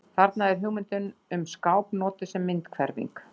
Þarna er hugmyndin um skáp notuð sem myndhverfing.